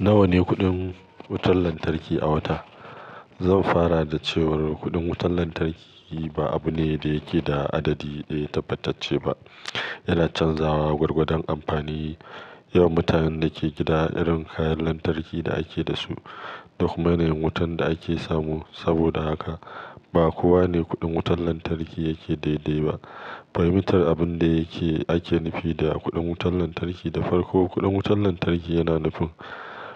Nawa ne kuɗin wutar lantarki a wata? Zan fara da cewa kuɗin wutar lantarki ba abu ne da yake da adadi ɗaya tabbacacce ba. Yana canzawa gwargwadon amfani, yawan mutanen da ke gida, irin kayan lantarki da ake da su da kuma yanayin wutar da ake samu. Saboda haka ba kowa ne kuɗin wutar lantarki yake daidai ba. Fahimtar abin da yake ake nufi da kuɗin wutar lantarki da farko. Kuɗin wutar lantarki yana nufin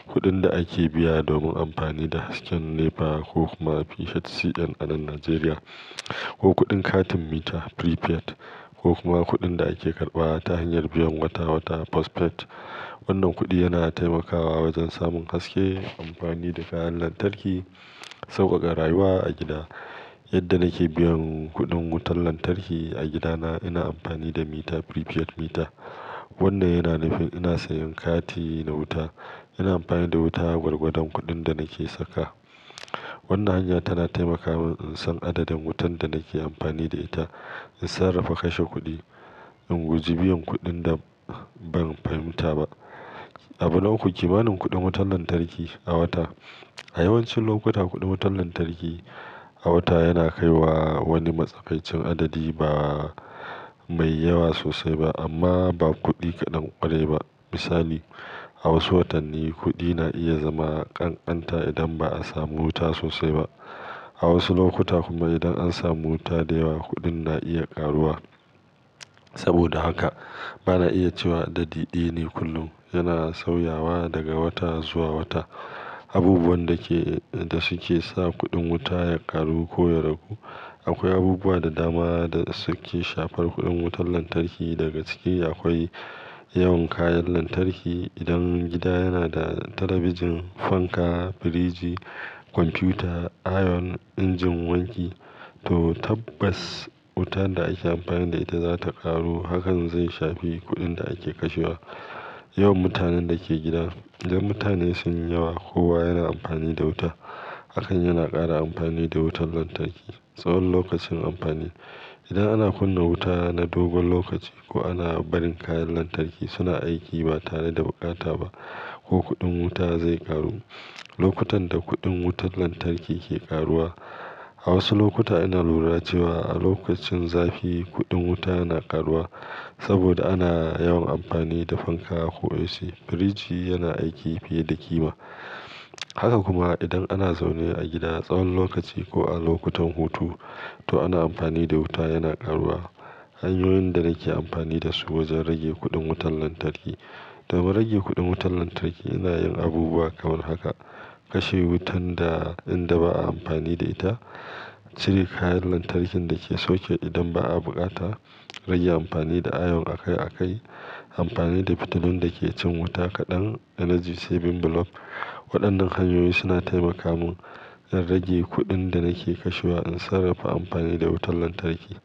kuɗin da ake biya domin amfani da hasken NEPA ko kuma PHCN a nan Najeriya, ko kuɗin katin mita prepaid ko kuma kuɗin da ake karɓawa ta hanyar biyan wata-wata post-paid. Wannan kuɗi yana taimakawa wajen samun haske, amfani da kayan lantarki, sauƙaƙa rayuwa a gida. Yadda nake biyan kuɗin wutar lantarki a gidana ina amfani da mita, prepaid mita, wanda yana nufin ina sayan kati na wuta. Ina amfani da wuta gwargwadon kuɗin da nake saka. Wannan hanya tana taimaka mun in san adadin wutan da nake amfani da ita, in sarrafa kashe kuɗi, in guji biyan kuɗin da ban fahimta ba. Abu na uku kimanin kuɗin wutar lantarki a wata? A yawancin lokuta, kuɗin wutar lantarki a wata yana kai wa wani matsakaicin adadi ba mai yawa sosai ba amma ba kuɗi kaɗan ƙwarai ba. Misali, a wasu watanni kuɗi na iya zama ƙanƙanta idan ba a samu wuta sosai ba. A wasu lokuta kuma idan an samu wuta da yawa, kuɗin na iya ƙaruwa. Saboda haka ba na iya cewa adadi ɗaya ne kullum. Yana sauyawa daga wata zuwa wata. Abubuwan da ke, da suke sa kuɗin wuta ya ƙaru ko ya ragu. Akwai abubuwa da dama da suke shafar kuɗin wutar lantarki. Daga cikin ya akwai yawan kayan lantarki. Idan gida yana da talabijin, fanka, firiji, kwamfuta, ayon, injin wanki to tabbas wutan da ake amfani da ita za ta ƙaro. Hakan zai shafi kuɗin da ake kashewa. Yawan mutanen da ke gida. Idan mutane sun yi yawa, kowa yana amfani da wuta. Hakan yana ƙara amfani da wutar lantarki. Tsawon lokacin amfani. Idan ana kunna wuta na dogon lokaci ko ana barin kayan lantarki suna aiki ba tare da bukata ba ko kuɗin wuta zai ƙaru. Lokutan da kuɗin wutar lantarki ke ƙaruwa. A wasu lokuta ina lura cewa a lokacin zafi kuɗin wuta yana ƙaruwa saboda ana yawan amfani da fanka ko AC. Firiji yana aiki fiye da ƙima. Haka kuma idan ana zaune a gida tsawon lokaci ko a lokutan hutu to ana amfani da wuta, yana ƙaruwa. Hanyoyin da nake amfani da su wajen rage kuɗin wutar lantarki. Don rage kuɗin wutar lantarki ina yin abubuwa kamar haka. Kashe wutan da inda ba a amfani da ita. Cire kayan lantarkin da ke sauke idan ba a bukata. Rage amfani da ayon a kai a kai. Amfani da fitulun da ke cin wuta kaɗan energy saving bulb. Waɗannan hanyoyi suna taimaka mun in rage kuɗin da nake kashewa, in sarrafa amfani da wutar lantarki.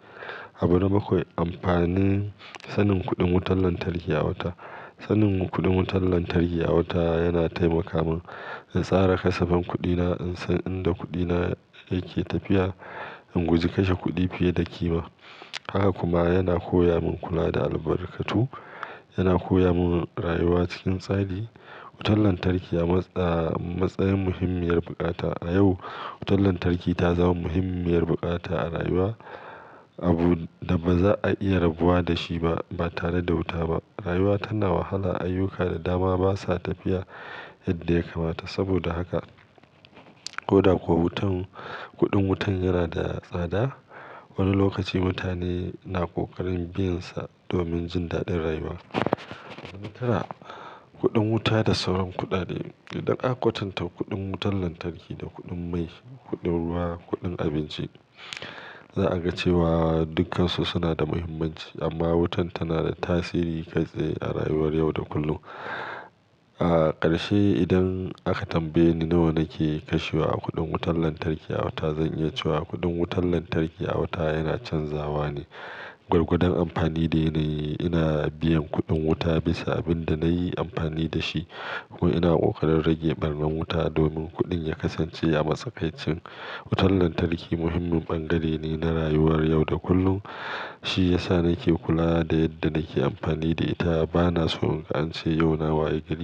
Abu bakwai. Amfanin sanin kuɗin wutar lantarki a wata. Sanin kuɗin wutar lantarki a wata yana taimaka mun in tsara kasafan kuɗina, in san inda kuɗina yake tafiya, in guji kashe kuɗi fiye da ƙima. Haka kuma yana koya mun kula da albarkatu, yana koya mun rayuwa cikin tsari. Wutar lantarki a matsayin muhimmiyar bukata. A yau wutar lantarki ta zama muhimmiyar bukata a rayuwa, abu da baza a iya rabuwa da shi ba, ba tare da wuta ba rayuwa tana wahala. Ayyuka da dama basa tafiya yadda ya kamata. Saboda haka ko da kuwa wutan, kuɗin wutan yana da tsada, wani lokaci mutane na ƙoƙarin biyansa domin jin daɗin rayuwa. Tara, kuɗin wuta da sauran kuɗaɗe. Idan aka kwatanta kuɗin wutar lantarki da kuɗin mai, kuɗin ruwa, kuɗin abinci za a ga cewa dukkansu suna da muhimmanci amma wutan tana da tasiri kai tsaye a rayuwar yau da kullum. A ƙarshe idan aka tambaye ni nawa nake kashewa a kuɗin wutar lantarki a wata, zan yi cewa kuɗin wutar lantarki a wata yana canzawa ne gwargwadon amfani da ya na yi. Ina biyan kuɗin wuta bisa abin da na yi amfani da shi ko ina ƙoƙarin rage ɓarnan wuta domin kuɗin ya kasance a matsakaicin. Wutar lantarki muhimmin ɓangare ne na rayuwar yau da kullum. Shi ya sa nake kula da yadda nake amfani da ita. Bana so in ance yauna wayi gari.